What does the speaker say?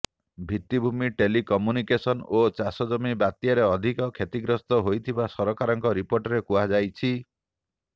ଭିତ୍ତିଭୂମି telecommunication ଓ ଚାଷ ଜମି ବାତ୍ୟାରେ ଅଧିକ କ୍ଷତିଗ୍ରସ୍ତ ହୋଇଥିବା ସରକାରଙ୍କ ରିପୋର୍ଟରେ କୁହାଯାଇଛି